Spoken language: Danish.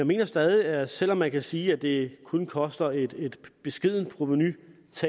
mener stadig at selv om man kan sige at det kun koster et beskedent provenutab